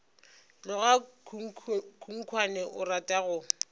tloga khunkhwane o rata go